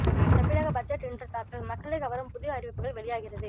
தமிழக பட்ஜெட் இன்று தாக்கல் மக்களை கவரும் புதிய அறிவிப்புகள் வெளியாகிறது